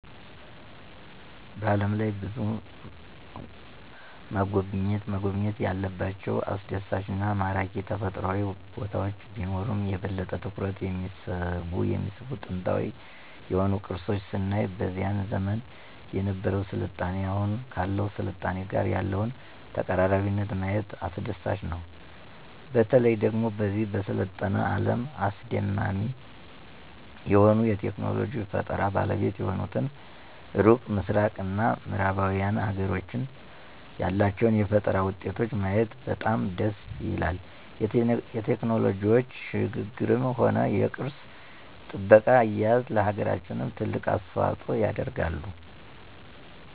በዓለም ላይ ብዙ መጎብኘት ያለባቸው አስደሳች እና ማራኪ ተፈጥሮአዊ ቦታወች ቢኖሩም የበለጠ ትኩረትን የሚስቡ ጥንታዊ የሆኑ ቅርሶች ስናይ በዚያን ዘመን የነበረው ስልጣኔ አሁኑ ካለው ስልጣኔ ጋር ያለውን ተቀራራቢነት ማየት አስደሳች ነው። በተለየ ደግሞ በዚህ በሰለጠነ አለም አስደማሚ የሆኑ የቴክኖሎጂ ፈጠራ ባለቤት የሆኑትን ሩቅ ምስራቅ እና ምዕራባውያን ሀገሮችን ያላቸውን የፈጠራ ውጤቶች ማየት በጣም ደስ ይላል የቴክኖሎጂው ሽግግርም ሆነ የቅርስ ጥበቃ አያያዝ ለሀገራችንም ትልቅ አስተዋጽኦ ያደርጋሉ።